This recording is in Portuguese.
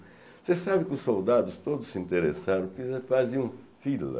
Você sabe que os soldados todos se interessaram faziam fila.